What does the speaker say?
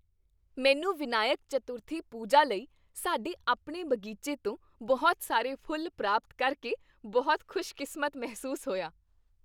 ਮੈਨੂੰ ਵਿਨਾਇਕ ਚਤੁਰਥੀ ਪੂਜਾ ਲਈ ਸਾਡੇ ਆਪਣੇ ਬਗੀਚੇ ਤੋਂ ਬਹੁਤ ਸਾਰੇ ਫੁੱਲ ਪ੍ਰਾਪਤ ਕਰਕੇ ਬਹੁਤ ਖੁਸ਼ਕਿਸਮਤ ਮਹਿਸੂਸ ਹੋਇਆ।